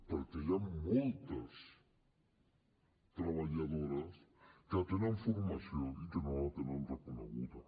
perquè hi han moltes treballadores que tenen formació i que no la tenen reconeguda